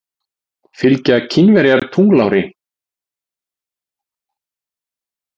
Fylgja Kínverjar tunglári?